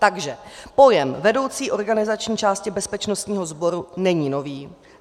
Takže: pojem vedoucí organizační části bezpečnostního sboru není nový.